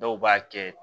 Dɔw b'a kɛ